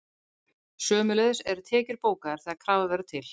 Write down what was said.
Sömuleiðis eru tekjur bókaðar þegar krafa verður til.